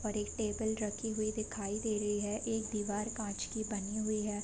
और एक टेबल रखी हुई दिखाई दे रही है एक दीवार काँच की बनी हुई है।